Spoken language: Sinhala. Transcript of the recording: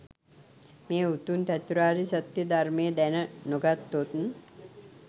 මේ උතුම් චතුරාර්ය සත්‍යය ධර්මය දැන නො ගත්තොත්